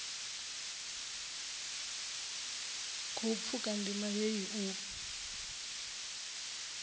khou pfuka ndima heyi u